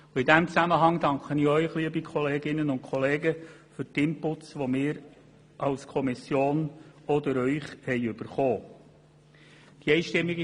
In diesem Zusammenhang danke ich auch Ihnen, liebe Kolleginnen und Kollegen, für die Inputs, die wir als Kommission auch durch Sie erhalten haben.